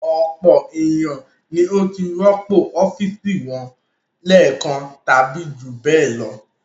Ọ̀pọ̀ ènìyàn ni ó ti rọ́pò ọ́fíísì wọn lẹ́ẹ̀kan tàbí jù bẹ́ẹ̀ lọ.